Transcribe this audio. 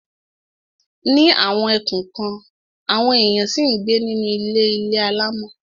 Ní àwọn ẹkùn kan, àwọn èèyàn ṣì ń gbé nínú ilé ilé alámọ̀.